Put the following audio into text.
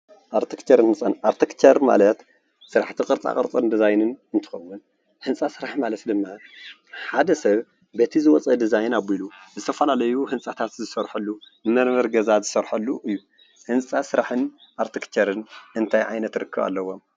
ኣርትክቸርን ህንፃን፡- ኣርቲክቸር ማለት ስራሕቲ ቅርፃ ቅርፅን ድዛይንን እንትኸውን ህንፃ ስራሕ ማለት ድማ ሓደ ሰብ በቲ ዝወፀ ድዛይን ኣቢሉ ዝተፈላለዩ ህንፃታት ዝሰርሐሉ ንመንበሪ ገዛ ዝስርሐሉ እዩ፡፡ እዚ ህንፃ ስራሕ ኣርቲክቸርን እንታይ ዓይነት ርክብ ኣለዎም?